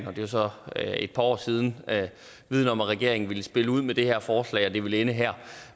og det er så et par år siden havde viden om at regeringen ville spille ud med det her forslag og at det ville ende her